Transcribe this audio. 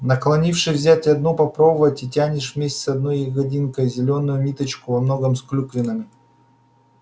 наклонишься взять одну попробовать и тянешь вместе с одной ягодинкой зелёную ниточку со многими клюквинками